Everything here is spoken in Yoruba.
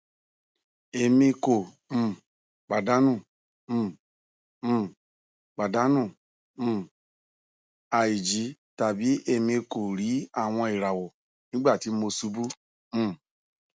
emi ko um padanu um um padanu um aiji tabi emi ko ri awọn irawọ nigbati mo ṣubu um